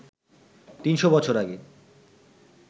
৩০০ বছর আগে